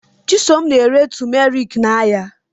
Chisom na-ere tụmeriki n'ahịa.